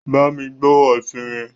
Bámi gbo efinrin!